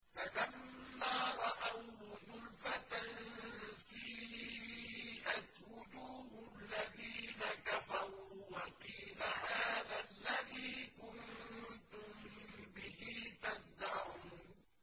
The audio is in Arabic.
فَلَمَّا رَأَوْهُ زُلْفَةً سِيئَتْ وُجُوهُ الَّذِينَ كَفَرُوا وَقِيلَ هَٰذَا الَّذِي كُنتُم بِهِ تَدَّعُونَ